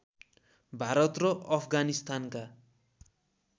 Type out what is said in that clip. भारत र अफगानिस्तानका